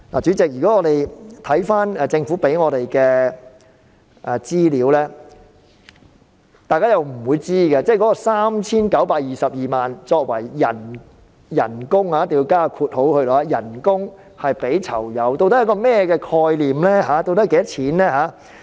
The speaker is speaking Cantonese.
主席，單靠政府提供給我們的資料，大家不會知道 3,922 萬元作為給予囚友的"工資"究竟是甚麼概念。